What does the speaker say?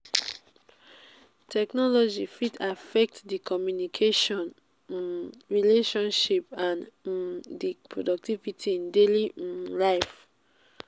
technology fit affect di communication um relationships and um di productivity in daily um life.